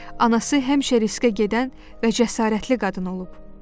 Anası həmişə riskə gedən və cəsarətli qadın olub.